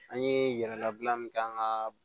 An ye yɛrɛla bila min kɛ an ka